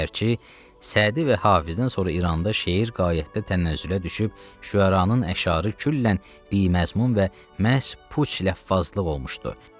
Əgərçi Sədi və Hafizdən sonra İranda şeir qayətdə tənəzzülə düşüb, şüəranın əşarı küllən biməzmun və məhz puç ləffazlıq olmuşdu.